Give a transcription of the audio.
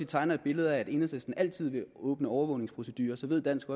tegner et billede af at enhedslisten altid vil åbne overvågningsprocedurer så ved dansk